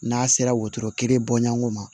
N'a sera wotoro kelen bɔɲɔgo ma